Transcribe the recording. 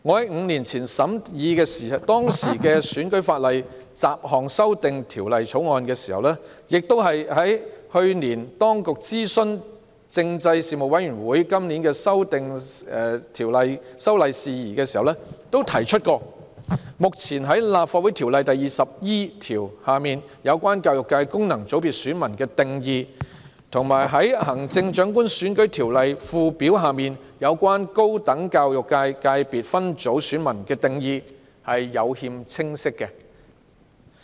五年前審議當時的《選舉法例條例草案》，以及去年當局就今年的修例工作諮詢政制事務委員會時，我都提及《立法會條例》第 20E 條下有關教育界功能界別選民的定義，以及《行政長官選舉條例》附表下有關高等教育界界別分組選民的定義有欠清晰。